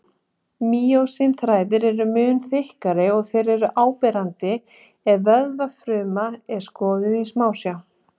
Mýósín-þræðirnir eru mun þykkari og þeir eru áberandi ef vöðvafruma er skoðuð í smásjá.